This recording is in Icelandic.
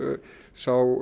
sú